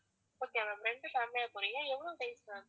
okay ma'am ரெண்டு family யா போறீங்க எவ்ளோ days ma'am